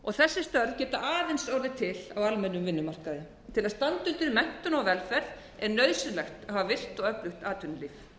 störf þessi störf geta aðeins orðið til á almennum vinnumarkaði til að standa undir menntun og velferð er nauðsynlegt að hafa virkt og öflugt atvinnulíf